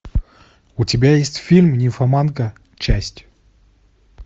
у тебя есть фильм нимфоманка часть